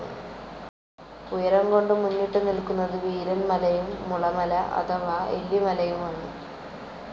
ഉയരം കൊണ്ട് മുന്നിട്ടു നിലക്കുന്നത് വീരൻ മലയും മുളമല അഥവാ എല്ലിമലയുമാണ്.